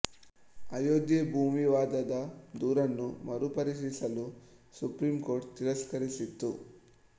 ಅಯೋಧ್ಯೆ ಭೂ ವಿವಾದದ ದೂರನ್ನು ಮರು ಪರಿಶೀಲಿಸಲು ಸುಪ್ರೀಂ ಕೋರ್ಟ್ ತಿರಸ್ಕರಿಸಿತು